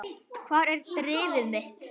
Hvar er drifið mitt?